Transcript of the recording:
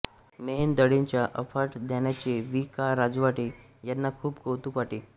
मेहेंदळेंच्या अफाट ज्ञानाचे वि का राजवाडे यांना खुप कौतूक वाटे